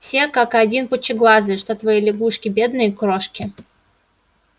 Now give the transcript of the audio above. все как один пучеглазые что твои лягушки бедные крошки